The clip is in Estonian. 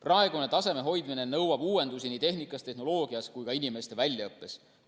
Praeguse taseme hoidmine nõuab uuendusi nii tehnikas, tehnoloogias kui ka inimeste väljaõppes.